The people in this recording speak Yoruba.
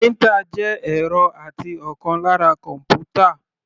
Printer jẹ́ ẹ̀rọ àti ọ̀kan lára kọ́npútà.